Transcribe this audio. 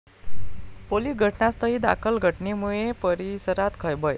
police घटनास्थळी दाखल, घटनेमुळे परिसरात खळबळ